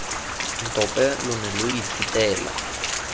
ntope lo ne lo ithutela